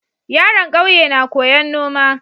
Yaron ƙauye na koyan noma